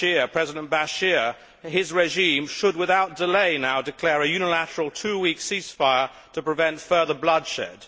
President Bashir, and his regime should, without delay, now declare a unilateral two week ceasefire to prevent further bloodshed.